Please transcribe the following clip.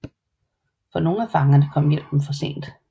For nogle af fangerne kom hjælpen for sent